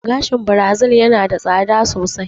Gashin Birazil yana da tsada sosai